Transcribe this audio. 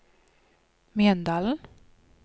Mjøndalen